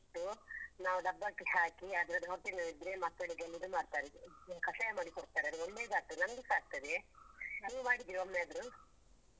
ನಾವು ಡಬ್ಬಕ್ಕೆ ಹಾಕಿ ಅದ್ರದ್ದು ಹೊಟ್ಟೆ ನೊವ್‌ ಇದ್ರೆ ಮಕ್ಕಳಿಗೆ ಇದು ಮಾಡ್ತಾರೆ ಕಷಾಯ ಮಾಡಿ ಕೊಡ್ತಾರೆ ಅದು ಒಳ್ಳೆದಾಗ್ತದೆ ನಮ್ಗುಸ ಆಗ್ತದೆ. ನೀನ್ ಮಾಡಿದ್ಯಾ ಒಮ್ಮೆ ಆದ್ರು?